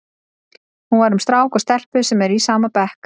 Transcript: Hún var um strák og stelpu sem eru í sama bekk.